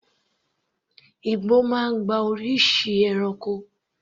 Igbó máa ń gba oríṣiríṣi ẹranko.